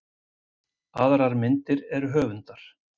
Aðrar myndir eru höfundar.